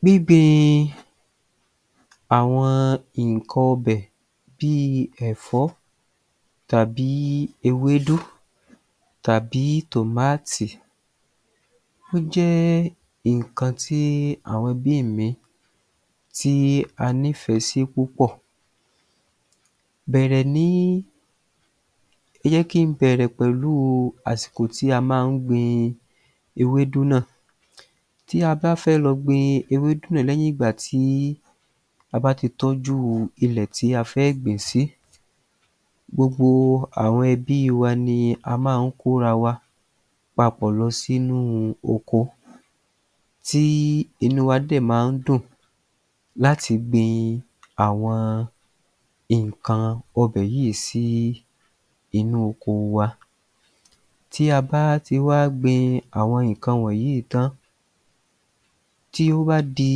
Gbíngbin àwọn nǹkan ọbẹ̀ bí i ẹ̀fọ́ tàbí ewédú tàbí tòmátì, ó jẹ́ nǹkan tí àwọn bí èmi tí a nífẹ̀ẹ́ sí púpọ̀ bẹ̀rẹ̀ ní. Ó yẹ kí n bẹ̀rẹ̀ pẹ̀lú àsìkò tí a máa ń gbin ewédú náà. Tí a bá fẹ́ lọ gbin ewédú lẹ́yìn ìgbàtí a bá ti tọ́jú ilẹ̀ tí a fẹ́ gbìn-ín sí, gbogbo àwọn ẹbí wa ni a máa ń kóra wa papọ̀ lọ sí inú oko tí inú wa dẹ̀ máa ń dùn láti gbin àwọn nǹkan ọbẹ̀ yìí sí inú oko wa. Tí a bá ti wá gbin àwọn nǹkan wọnyìí tán, tí ó bá di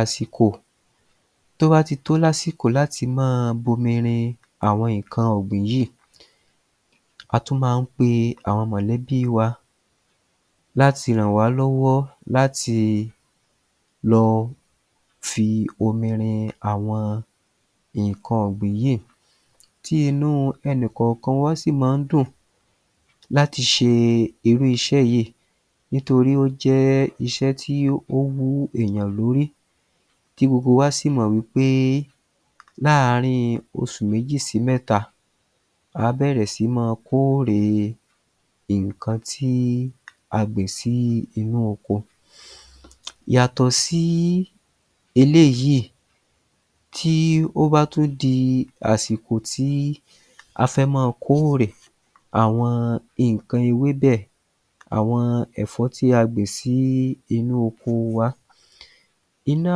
àsìkò, tó bá ti tó lásìkò láti máa bomi rin àwọn nǹkan ọ̀gbìn yìí, a tún máa ń pe àwọn mọ̀lẹ́bí wa láti ràn wá lọ́wọ́ láti lọ fi omi rin àwọn nǹkan ọ̀gbìn yìí. Tí inú ẹnì kọọ̀kan sì máa ń dùn láti ṣe irú iṣẹ́ yìí nítorí ó jẹ́ iṣẹ́ tí ó wú èèyàn lórí tí gbogbo wa sì mọ wí pé láàárín osù méjì sí mẹ́ta àá bẹ̀rẹ̀ sí ní máa kórè nǹkan tí a gbìn sínú oko. Yàtọ̀ sí eléyìí, tí ó bá tún di àsìkò tí a fẹ́ ma kórè, àwọn nǹkan ewébẹ̀, àwọn ẹ̀fọ́ tí a gbìn sí inú oko wa. Inú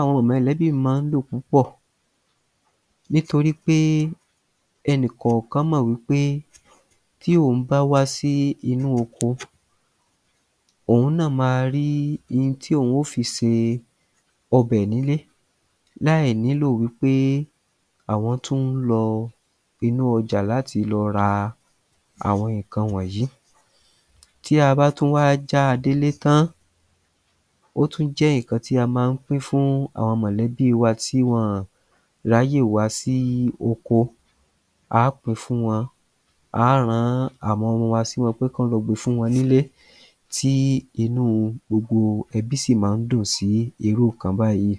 àwọn mọ̀lẹ́bí mi máa ń dùn púpọ̀ nítorí pé ẹnì kọ̀ọ̀kan mọ wí pé tí òun bá wá sí inú oko, òun náà ma rí in tí òun o fi se ọbẹ̀ nílé láì nílò wí pé àwọn tún ń lọ inú ọjà láti lọ ra àwọn nǹkan wọnyìí. Tí a bá tún wá jáa délé tán, ó tún jẹ́ nǹkan tí a máa ń pín fún àwọn mọ̀lẹ́bí wa tí wọ́n ráyè wá sí oko, á pin fún wọn, á ran àwọn ọmọ wa sí wọn pé kán lọ gbe fún wọn nílé tí inú gbogbo ẹbí sì máa ń dùn sí irú nǹkan báyìí.